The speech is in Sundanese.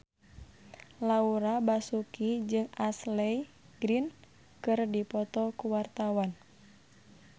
Laura Basuki jeung Ashley Greene keur dipoto ku wartawan